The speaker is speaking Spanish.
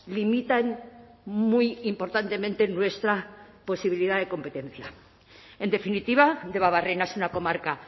limitan muy importantemente nuestra posibilidad de competencia en definitiva debabarrena es una comarca